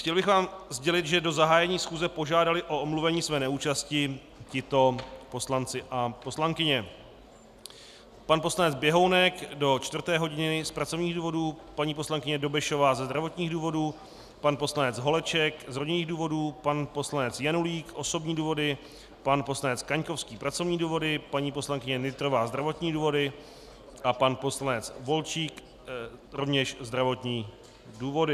Chtěl bych vám sdělit, že do zahájení schůze požádali o omluvení své neúčasti tito poslanci a poslankyně: pan poslanec Běhounek do čtvrté hodiny z pracovních důvodů, paní poslankyně Dobešová ze zdravotních důvodů, pan poslanec Holeček z rodinných důvodů, pan poslanec Janulík - osobní důvody, pan poslanec Kaňkovský - pracovní důvody, paní poslankyně Nytrová - zdravotní důvody a pan poslanec Volčík - rovněž zdravotní důvody.